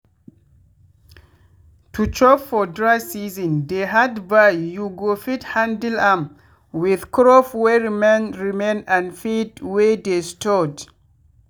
to chop for dry seasons dey hard but you go fit handle am with crop wey remain remain and feed wey dey stored.